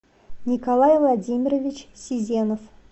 николай владимирович сизенов